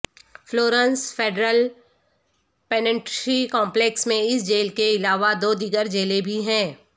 Florence federal penitentiary complex میں اس jail کے علاوہ دو دیگر جیلیں بھی ہیں